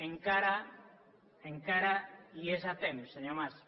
encara encara hi és a temps senyor mas